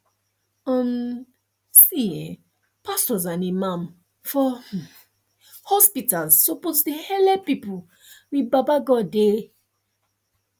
um see um pastos and imams for um hospitals suppos dey helep pple with baba godey